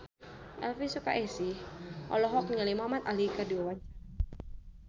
Elvy Sukaesih olohok ningali Muhamad Ali keur diwawancara